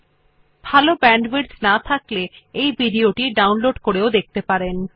যদি ভাল ব্যান্ডউইডথ না থাকে তাহলে আপনি ভিডিও টি ডাউনলোড করে দেখতে পারেন